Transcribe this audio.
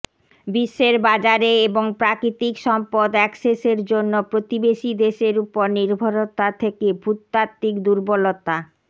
বিশ্বের বাজারে এবং প্রাকৃতিক সম্পদ অ্যাক্সেসের জন্য প্রতিবেশী দেশের উপর নির্ভরতা থেকে ভূতাত্ত্বিক দুর্বলতা